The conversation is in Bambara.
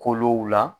Kolow la